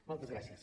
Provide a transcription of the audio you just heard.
moltes gràcies